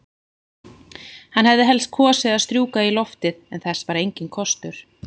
Hann hefði helst kosið að strjúka í loftið, en þess var enginn kostur.